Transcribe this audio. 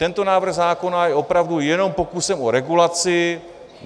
Tento návrh zákona je opravdu jenom pokusem o regulaci.